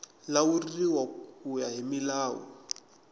lawuriwa ku ya hi milawu